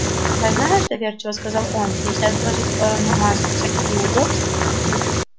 а знаешь доверчиво сказал он если отбросить в сторону массу всяких неудобств